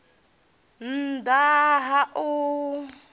nn ḓ a ha u